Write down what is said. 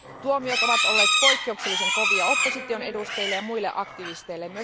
Tuomiot ovat olleet poikkeuksellisen kovia opposition edustajille ja muille aktivisteille.